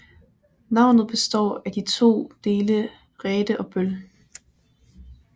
Navnet består af de to dele ræte og bøl